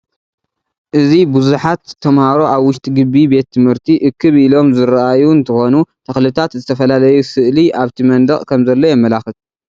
እዚ ብዙሐት ተምሃሮ አብ ውሽጢ ግቢ ቤት ትምህርቲ እክብ እክብ ኢሎም ዘሰርአዩ እንትኾኑ ተኽልታት፣ ዝተፈላለዩ ስእሊ አበቲ መንደቅ ከምዘሎ የማላኽት።